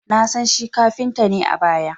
Na san shi kafinta ne a baya